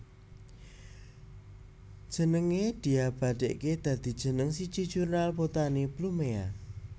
Jenengé diabadèkaké dadi jeneng siji jurnal botani Blumea